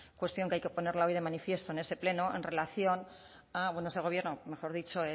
cuestión que hay que ponerla hoy de manifiesto en este pleno en relación a bueno este gobierno mejor dicho